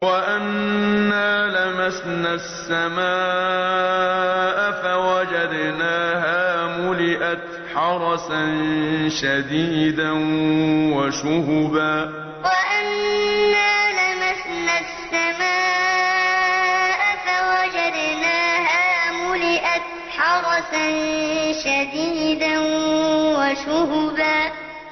وَأَنَّا لَمَسْنَا السَّمَاءَ فَوَجَدْنَاهَا مُلِئَتْ حَرَسًا شَدِيدًا وَشُهُبًا وَأَنَّا لَمَسْنَا السَّمَاءَ فَوَجَدْنَاهَا مُلِئَتْ حَرَسًا شَدِيدًا وَشُهُبًا